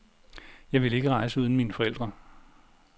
Jeg ville ikke rejse uden mine forældre.